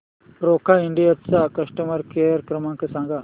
Roca India चा customer care क्रमांक सांगा